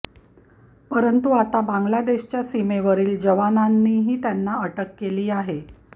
परंतु आता बांग्लादेशच्या सीमेवरील जवानांनीही त्यांना अटक केली आहे